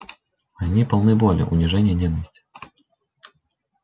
они полны боли унижения ненависти